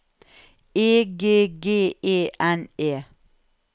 E G G E N E